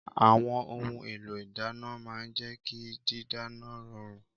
Àwọn ohun èlò ìdàná màa ń jẹ ki dídáná rọrùn.